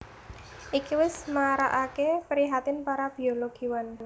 Iki wis marakaké prihatin para biologiwan